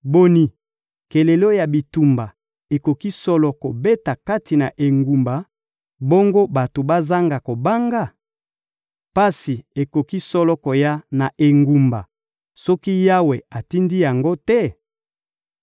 Boni, kelelo ya bitumba ekoki solo kobeta kati na engumba, bongo bato bazanga kobanga? Pasi ekoki solo koya na engumba soki Yawe atindi yango te?